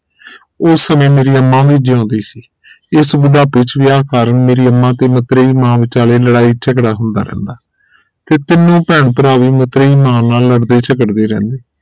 ਉਸ ਸਮੇ ਮੇਰੀ ਅੰਮਾ ਵੀ ਜਿਉਂਦੀ ਸੀ ਇਸ ਬੁਢਾਪੇ ਚ ਵਿਆਹ ਕਾਰਨ ਮੇਰੀ ਅੰਮਾ ਤੇ ਮਤਰੇਈ ਮਾਂ ਵਿਚਾਲੇ ਲੜਾਈ ਝਗੜਾ ਹੁੰਦਾ ਰਹਿੰਦਾ ਫਿਰ ਤੀਨੋ ਭੈਣ ਭਰਾਵੇਂ ਮਤਰੇਈ ਮਾਂ ਨਾਲ ਲੜਦੇ ਝਗੜਦੇ ਰਹਿੰਦੇ